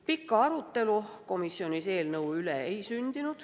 Pikka arutelu komisjonis eelnõu üle ei sündinud.